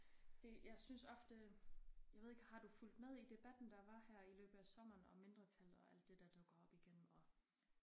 Det jeg synes ofte jeg ved ikke har du fulgt med i debatten der var her i løbet i af sommeren om mindretallet og alt det der dukker op igen og